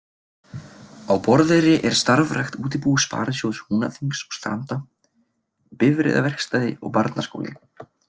Á Borðeyri er starfrækt útibú Sparisjóðs Húnaþings og Stranda, bifreiðaverkstæði og barnaskóli.